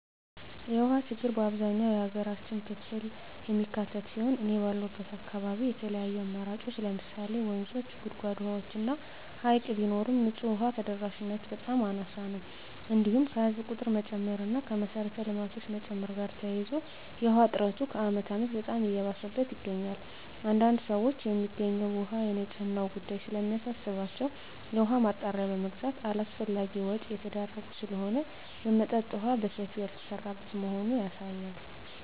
የውሃ ችግር አብዛኛው የሀገራችን ክፍል የሚካትት ሲሆን እኔ ባለሁበት አካባቢ የተለያዩ አማራጮች ለምሳሌ ወንዞች; ጉድጓድ ውሃዎች እና ሀይቅ ቢኖርም ንፁህ ውሃ ተደራሽነቱ በጣም አናሳ ነው። እንዲሁም ከህዝብ ቁጥር መጨመር እና ከመሰረተ ልማቶች መጨመር ጋር ተያይዞ የውሃ እጥረቱ ከአመት አመት በጣም እየባሰበት ይገኛል። አንዳንድ ሰዎች የሚገኘው ውሃ የንፅህናው ጉዳይ ስለሚያሳስባቸው የውሃ ማጣሪያ በመግዛት አላስፈላጊ ወጭ እየተዳረጉ ስለሆነ የመጠጠጥ የውሃ በሰፊው ያልተሰራበት መሆኑ ያሳያል።